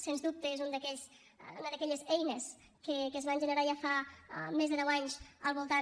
sens dubte és una d’aquelles eines que es van generar ja fa més de deu anys al voltant